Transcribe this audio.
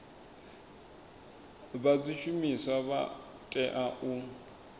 vha zwishumiswa vha tea u